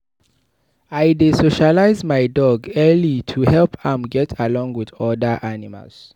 I dey socialize my dog early to help am get along with other animals.